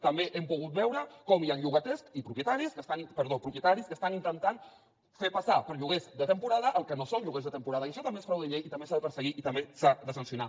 també hem pogut veure com hi han propietaris que estan intentant fer passar per lloguers de temporada el que no són lloguers de temporada i això també és frau de llei i també s’ha de perseguir i també s’ha de sancionar